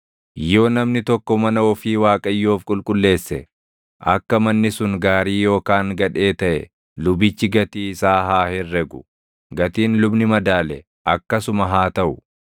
“ ‘Yoo namni tokko mana ofii Waaqayyoof qulqulleesse, akka manni sun gaarii yookaan gadhee taʼe lubichi gatii isaa haa herregu. Gatiin lubni madaale akkasuma haa taʼu.